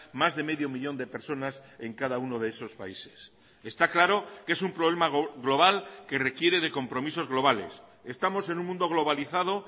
más de medio millón de personas en cada uno de esos países está claro que es un problema global que requiere de compromisos globales estamos en un mundo globalizado